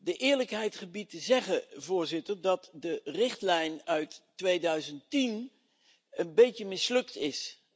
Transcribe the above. De eerlijkheid gebiedt te zeggen dat de richtlijn uit 2010 een beetje mislukt is.